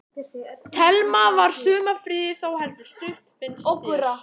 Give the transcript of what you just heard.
Telma: Var sumarfríið þá heldur stutt finnst þér?